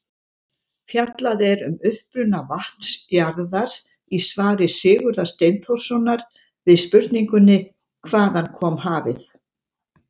Fjallað er um uppruna vatns jarðar í svari Sigurðar Steinþórssonar við spurningunni Hvaðan kom hafið?